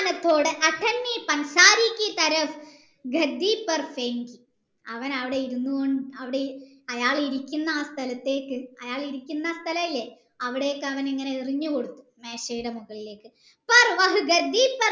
അവൻ അവിടെ ഇരുന്നു കൊണ്ട് അവിടെ അയാൾ ഇരിക്കുന്ന ആ സ്ഥലത്തേക്കു അയാളിരിക്കുന്ന സ്ഥലയില്ലേ അവിടേക്കു അവൻ ഇങ്ങനെ എറിഞ്ഞു കൊടുത്തു മേശയിടെ മുകളിലേക്ക്